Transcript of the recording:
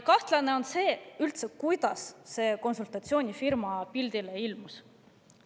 Kahtlane on see, kuidas see konsultatsioonifirma üldse pildile ilmus.